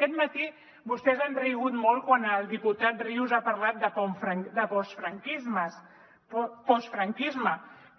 aquest matí vostès han rigut molt quan el diputat rius ha parlat de postfranquisme